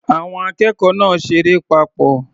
Àwọn akẹ́kọ̀ọ́ náà ṣeré papọ̀.